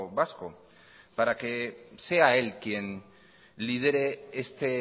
vasco para que sea él quien lidere este